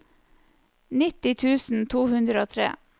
nitti tusen to hundre og tre